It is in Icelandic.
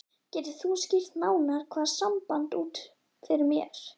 Getur þú skýrt nánar það samband út fyrir mér?